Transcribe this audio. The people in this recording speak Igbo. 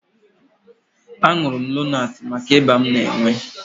Aṅụrụ m Lonaatị maka ịba m na-enwe